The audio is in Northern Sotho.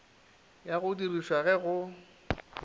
ya go dirišwa ge go